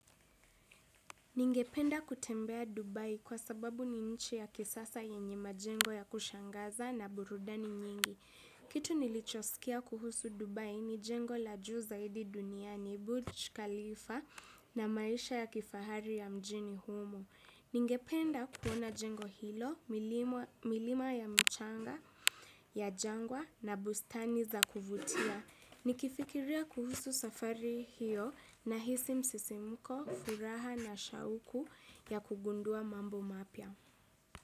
Ningependa kutembea Dubai kwa sababu ni nchi ya kisasa yenye majengo ya kushangaza na burudani nyingi. Kitu nilichosikia kuhusu Dubai ni jengo la juu zaidi dunia ni burj khalifa na maisha ya kifahari ya mjini humo. Ningependa kuona jengo hilo, milima ya mchanga ya jangwa na bustani za kuvutia. Nikifikiria kuhusu safari hiyo nahisi msisimuko, furaha na shauku ya kugundua mambo mapya.